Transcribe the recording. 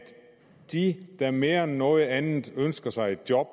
de der mere end noget andet ønsker sig et job